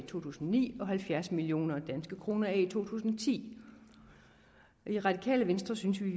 tusind og ni og halvfjerds million kroner i to tusind og ti og i radikale venstre synes vi